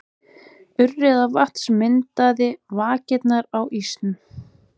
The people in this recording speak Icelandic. Urriðavatns myndaði vakirnar á ísnum.